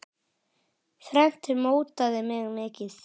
Þrennt mótaði mig mikið.